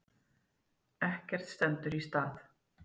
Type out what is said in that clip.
Ekkert stendur í stað.